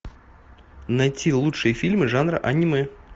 найти лучшие фильмы жанра аниме